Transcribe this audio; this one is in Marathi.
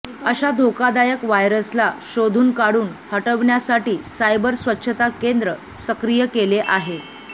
अशा धोकादायक व्हायरसला शोधून काढून हटवण्यासाठी सायबर स्वच्छता केंद्र सक्रिय केले आहे